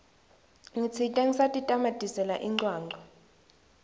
ngitsite ngisatitamatisela incwancwa